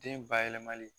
Den bayɛlɛmali